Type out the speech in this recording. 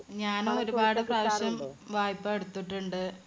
ഞാൻ ഒരുപാട് പ്രാവശ്യം വായ്പ എടുത്തിട്ടുണ്ട്.